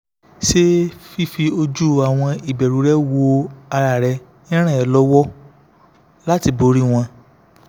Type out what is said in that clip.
ṣé fífi ojú àwọn ìbẹ̀rù rẹ wo ara rẹ ń ràn ẹ́ lọ́wọ́ láti borí wọn?